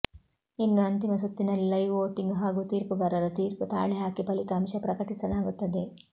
ಇನ್ನು ಅಂತಿಮ ಸುತ್ತಿನಲ್ಲಿ ಲೈವ್ ವೋಟಿಂಗ್ ಹಾಗೂ ತೀರ್ಪುಗಾರರ ತೀರ್ಪು ತಾಳೆ ಹಾಕಿ ಫಲಿತಾಂಶ ಪ್ರಕಟಿಸಲಾಗುತ್ತದೆ